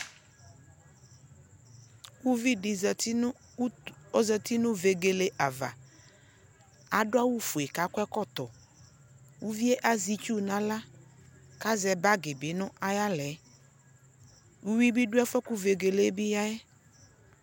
ʋvidi zati nʋ vɛgɛlɛ aɣa adʋ awʋ ƒʋɛ kʋakɔ ɛkɔtɔ, ʋviɛ azɛ itsʋ nʋ alaka azɛ bagi bi nʋ ayi alɛ, ʋwi bi dʋ ɛƒʋɛ kʋ vɛgɛlɛ ɔyaɛ